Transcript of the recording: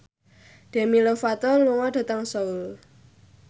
Demi Lovato lunga dhateng Seoul